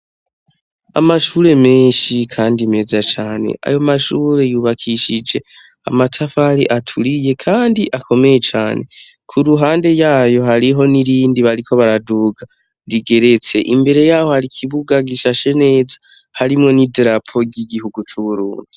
Amashure menshi kandi meza cane amashuri yubakishijwe amatafari aturiye kandi akomeye cane kuruhande yayo hari niyindi bariko baraduga rigetse imbere yaho hari ikibuga gishashe neza hari nidarapo ryigihugu cuburundi